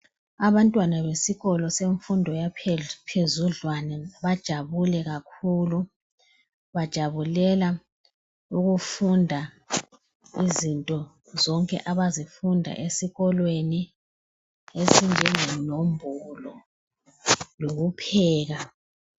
Abantwana besikolo semfundo yaphezudlwana bajabule kakhulu. Bajabulela ukufunda izinto zonke abazifunda esikolweni ezinjengenombolo lokupheka.